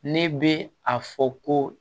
Ne bɛ a fɔ ko